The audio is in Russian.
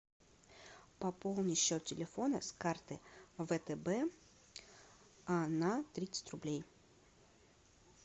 пополни счет телефона с карты втб на тридцать рублей